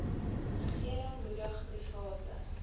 regering moedig private